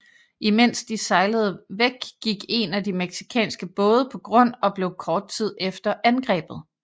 I mens de sejlede væk gik en af de mexicanske både på grund og blev kort tid efter angrebet